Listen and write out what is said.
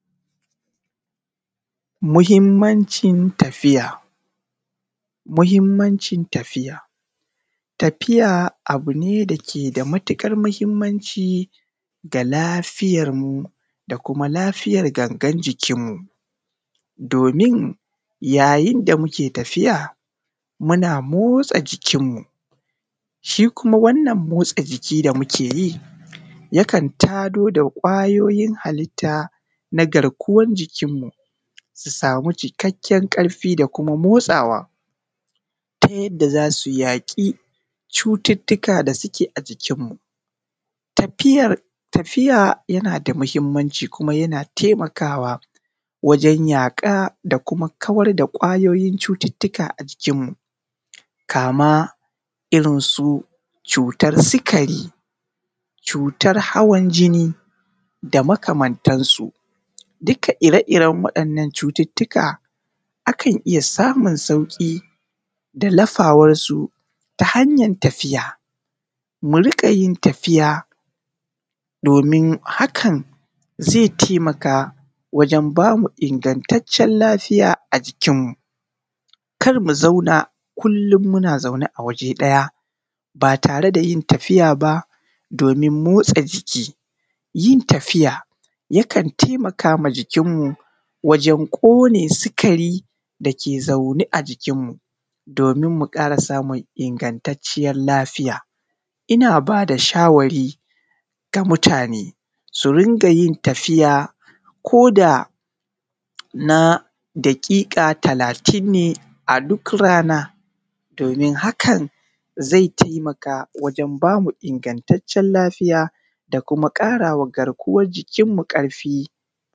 Muhimancin tafiya. Muhimancin tafiya, tafiya abu ne dake da matuƙar muhimmanci ga lafiyar mu da kuma lafiyar gangar jikin mu. Domin yayin da muke tafiya muna motsa jikin mu, shi kuma wannan motsa jiki da muke yi yakan tado da ƙwayoyin halitta na garkuwan jikinmu sumu cikakken ƙarfi da motsawa ta yadda za su yaƙi cututuka da suke a jikinmu. Tafiya yana da muhimmanci kuma yana taimaka wa wajan yaƙar da kuma kawar da ƙwayoyin cututuka a jikinmu. kama irin su cutar sikari, cutar hawan jini da makamantan su. Duka ire iren waɗannan cututuka akan iya samun sauƙi da lafawan su ta hanyar tafiya. Mu rinƙa yin tafiya domin hakan zai taimaka wajan ba mu ingatacen lafiya a jikin mu. Kar mu zauna kullum muna zaune a waje ɗaya ba tare da yin tafiya ba, domin motsa jiki, yin tafiya kan taimakawa jikin mu wajan ƙone sikari da dake zaune a jikinmu domin mu ƙara samun ingantatcen lafiya. Ina ba da shawari ga mutane su rinƙa yin tafiya koda na daƙiƙa talatin ne a duk rana domin hakan zai taimaka wajan bamu ingatacen lafiya da kuma kara wa garkuwan jikin mu karfi.